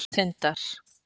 Tindar